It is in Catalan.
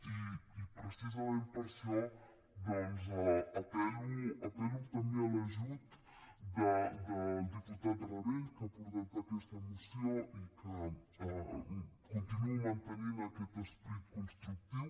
i precisament per això doncs apel·lo també a l’ajut del diputat rabell que ha portat aquesta moció i continuo mantenint aquest esperit constructiu